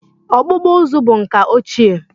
Ọkpụkpụ uzu bụ nka ochie